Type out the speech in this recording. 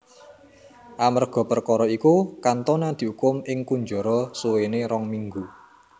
Amerga perkara iku Cantona diukum ing kunjara suwene rong minggu